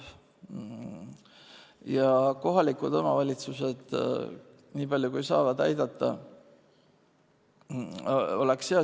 Ja kui kohalikud omavalitsused aitavad, nii palju kui saavad aidata, oleks hea.